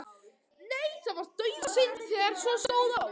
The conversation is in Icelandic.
Nei, það var dauðasynd þegar svo stóð á.